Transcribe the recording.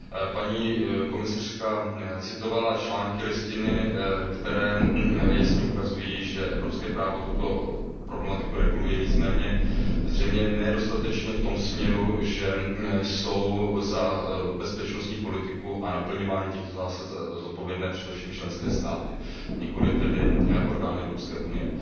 Paní komisařka citovala články Listiny, které jasně ukazují, že evropské právo tuto problematiku reguluje, nicméně zřejmě ne dostatečně v tom směru, že jsou za bezpečnostní politiku a naplňování těchto zásad zodpovědné především členské státy, nikoliv tedy orgány Evropské unie.